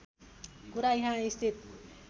कुरा यहाँ स्थित